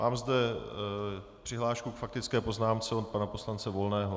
Mám zde přihlášku k faktické poznámce od pana poslance Volného.